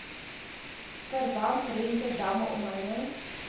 verbandrente damme omheinings